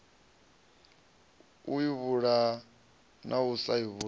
u ivhulaha na u sa